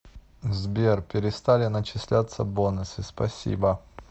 сбер перестали начислятся бонусы спасибо